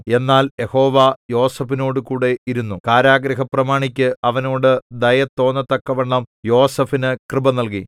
എന്നാൽ യഹോവ യോസേഫിനോടുകൂടെ ഇരുന്നു കാരാഗൃഹപ്രമാണിക്കു അവനോട് ദയ തോന്നത്തക്കവണ്ണം യോസേഫിന് കൃപ നല്കി